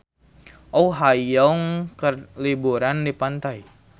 Oh Ha Young keur liburan di pantai